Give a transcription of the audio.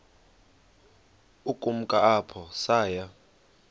ukumka apho saya